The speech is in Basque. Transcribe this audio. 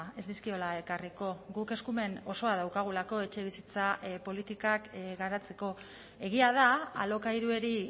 ez dizkiola ekarriko guk eskumen osoa daukagulako etxebizitza politikak garatzeko egia da alokairuari